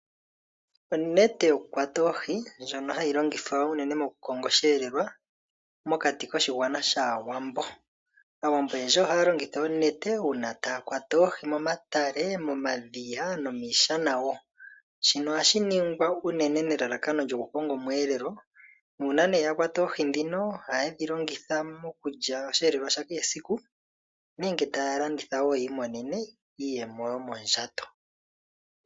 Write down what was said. Onete yokukwata oohi ndjono ha yi longithwa unene moku konga osheelelwa. Momuthigululwakalo gwaawambo aantu oyendji oha ya longitha oonete oku kwata oohi momatale, momadhiya nomiishana shoka ha ye shi ningi nelalakano lyoku konga osheelelwa sha kehe esiku, nenge ya landithe yiimonene mo iiyemo.